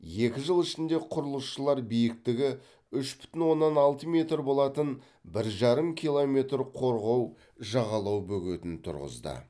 екі жыл ішінде құрылысшылар биіктігі үш бүтін оннан алты метр болатын бір жарым километр қорғау жағалау бөгетін тұрғызды